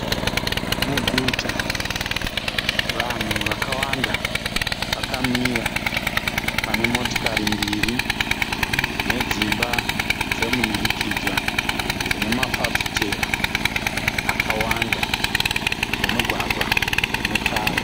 Muguta, vanhu vakawanda vakamira pane motikari mbiri nedzimba dzemunhurikidzwa dzine mafafitera akawanda nemugwagwa une tara.